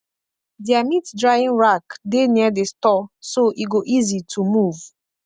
their meat drying rack dey near the store so e go easy to move